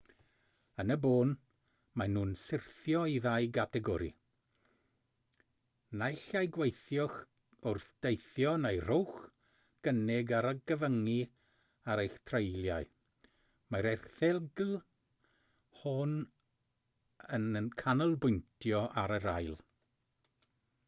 yn y bôn maen nhw'n syrthio i ddau gategori naill ai gweithiwch wrth deithio neu rhowch gynnig ar gyfyngu ar eich treuliau mae'r erthygl hon yn canolbwyntio ar yr ail